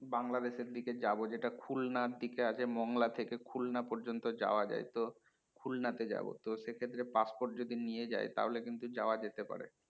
বাংলাদেশ এর দিকে যাবো যেটা খুলনার দিকে আছে মঙ্গলা থেকে খুলনা পর্যন্ত যাওয়া যায় তো খুলনা তে যাবো তো সেক্ষেত্রে passport যদি নিয়ে যায় তাহলে কিন্তু যাওয়া যেতে পারে